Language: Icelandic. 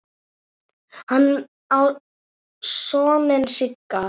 Hann á soninn Sigga.